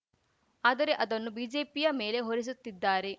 ಆದರೆ ಅದನ್ನು ಬಿಜೆಪಿಯ ಮೇಲೆ ಹೊರಿಸುತ್ತಿದ್ದಾರೆ